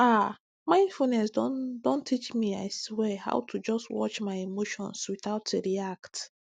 ah mindfulness don don teach me i swear how to just watch my emotions without react